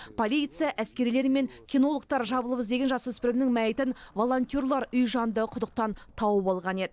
полиция әскерилер мен кинологтар жабылып іздеген жасөспірімнің мәйітін волонтерлар үй жанындағы құдықтан тауып алған еді